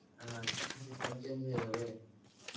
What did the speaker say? এ শিক্ষা system change হয়ে যাবে?